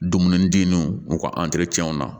Dumuni den nun u ka na